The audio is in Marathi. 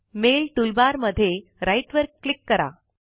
मेल टूल बार मध्ये राइट वर क्लिक करा